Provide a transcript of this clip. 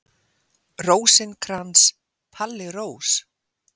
Rósinkrans, Palli Rós.